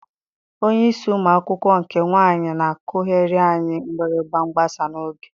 Onyeisi ụmụ akwụkwọ nke nwaanyị na-akụghịrị anyị mgbịrịgba mgbasa n'oge.